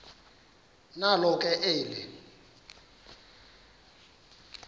nalo ke eli